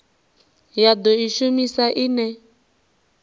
ya do i shumisa ine